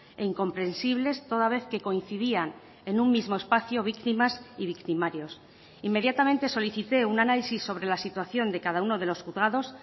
e incomprensibles toda vez que coincidían en un mismo espacio víctimas y victimarios inmediatamente solicité un análisis sobre la situación de cada uno de los juzgados